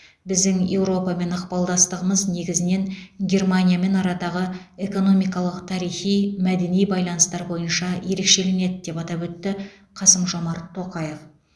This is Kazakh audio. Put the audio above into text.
біздің еуропамен ықпалдастығымыз негізінен германиямен арадағы экономикалық тарихи мәдени байланыстар бойынша ерекшеленеді деп атап өтті қасым жомарт тоқаев